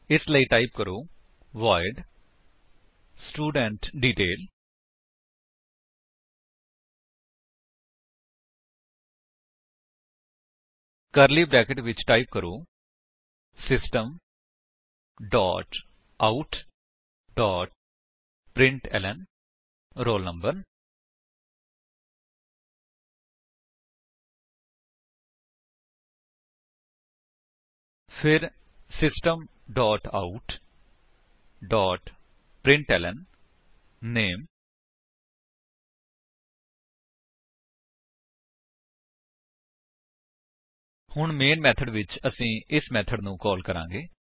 ਇਸ ਲਈ ਟਾਈਪ ਕਰੋ ਵੋਇਡ ਸਟੂਡੈਂਟਡੀਟੇਲ ਕਰਲੀ ਬਰੈਕੇਟਸ ਵਿੱਚ ਟਾਈਪ ਕਰੋ system dot out dot println roll number ਫਿਰ system dot out dot println name ਹੁਣ ਮੈਨ ਮੇਥਡ ਵਿੱਚ ਅਸੀ ਇਸ ਮੇਥਡ ਨੂੰ ਕਾਲ ਕਰਾਂਗੇ